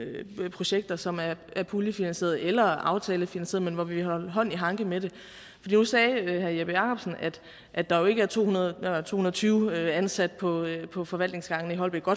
projekter som er puljefinansierede eller aftalefinansierede men hvor vi har hånd i hanke med det nu sagde herre jeppe jakobsen at der jo ikke er to hundrede og tyve ansat på på forvaltningsgangene i holbæk og